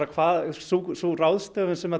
sú ráðstöfun sem